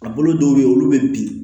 A bolo dɔw be ye olu be bin